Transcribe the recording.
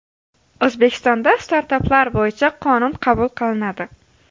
O‘zbekistonda startaplar bo‘yicha qonun qabul qilinadi.